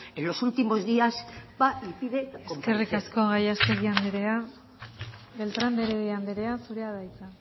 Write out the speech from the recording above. en los últimos días va y pide comparecer eskerrik asko gallastegui anderea beltrán de heredia anderea zurea da hitza